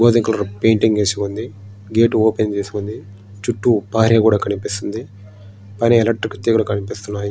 గోధుమ colour painting వేసి ఉంది గేటు ఓపెన్ చేసింది చుట్టూ ప్రహరీ కూడా కనిపిస్తుంది కరెంటు తీగలు కనిపిస్తున్నాయి.